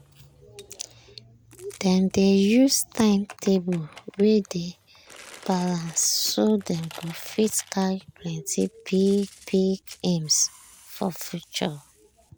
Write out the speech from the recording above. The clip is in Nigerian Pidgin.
dem dey use time table wey dey balanced so dem go fit carry plenty big big aims for future.